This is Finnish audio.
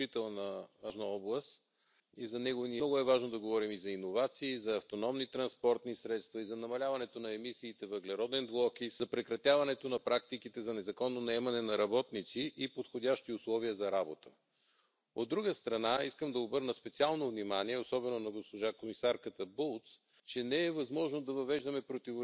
Kolmantena haluan nostaa esiin Euroopan unionin investoinnit sekä innovointiin että infrastruktuuriin. Olemme parhaillaan käsittelemässä tulevan kauden budjettikehyksiä ja on tärkeää, että sijoitamme riittävästi rahaa liikenneinfrastruktuurin, liikenteen digitalisaatioon, vaihtoehtoiseen energiaan ja toisaalta innovaatioihin ja tutkimukseen, koska tarvitsemme myös lisää tietoa, jotta pystymme säilymään maailman kärjessä puhtaan liikenteen edelläkävijänä Euroopassa.